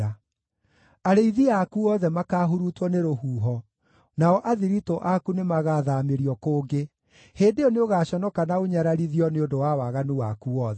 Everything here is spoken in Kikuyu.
Arĩithi aku othe makaahurutwo nĩ rũhuho, nao athiritũ aku nĩmagathaamĩrio kũngĩ. Hĩndĩ ĩyo nĩũgaconoka na ũnyararithio nĩ ũndũ wa waganu waku wothe.